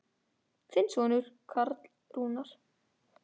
Þinn sonur Karl Rúnar.